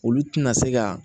Olu tɛna se ka